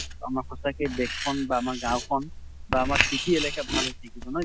আমাৰ সঁচাকে দেশ খন বা আমাৰ গাওঁ খন বা আমাৰ city এলেকা ভাল হৈ থাকিব, নহয় জানো?